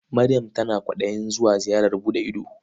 Maryam tana kwaɗayin zuwa ziyarar buɗe ido.